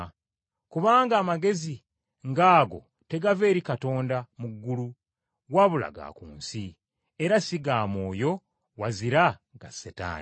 Kubanga amagezi ng’ago tegava eri Katonda mu ggulu wabula ga ku nsi, era si ga mwoyo wazira ga Setaani.